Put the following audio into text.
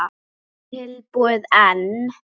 Ekki allt búið enn.